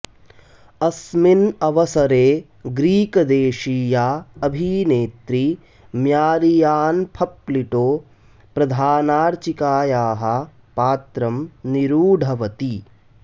अस्मिन् अवसरे ग्रीकदेशीया अभिनेत्री म्यारियान्फप्लिटो प्रधानार्चिकायाः पात्रं निरुढवती